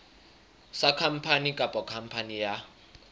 sa khampani kapa khampani ya